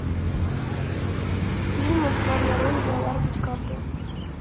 фильмы в главной роли леонардо ди каприо